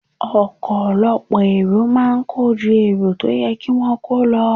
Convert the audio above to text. Ọkọ̀ ọ lọ́pọ̀ èrò máa ń kọ́ ju èrò tó yẹ kí wón kò lo.